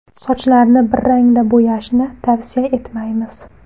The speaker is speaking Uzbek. Sochlarni bir rangda bo‘yashni tavsiya etmaymiz.